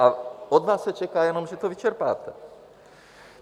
A od vás se čeká jenom, že to vyčerpáte.